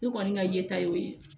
Ne kɔni ka ye ta y'o ye